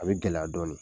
A bɛ gɛlɛya dɔɔnin